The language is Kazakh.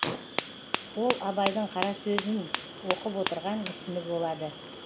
ол абайдың қара сөзін оқып отырған мүсіні болады